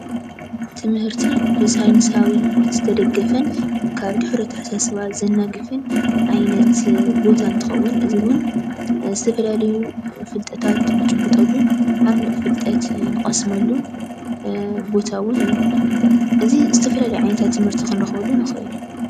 ትምህርቲ ብሳይንሳዊ ዝተደገፈን ካብ ድሑር ኣታሓሳስባ ዘናግፍን ዓይነት ቦታ እንትኸውን እዚ ውን ዝተፈላለዩ ፍልጠታት ንጭብጠሉን ዓሙቕ ፍልጠት ንቐስመሉን ቦታ ውን እዩ። እዚ ዝተፈላለዩ ዓይነታት ትምህርቲ ክንረኽበሉ ንኽእል።